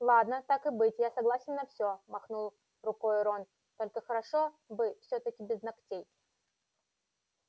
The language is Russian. ладно так и быть я согласен на все махнул рукой рон только хорошо бы всё-таки без ногтей